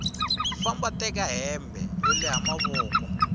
famba teka hembe yo leha mavoko